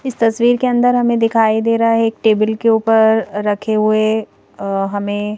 इस तस्वीर के अंदर हमें दिखाई दे रहा है एक टेबल के ऊपर रखे हुए अ हमें--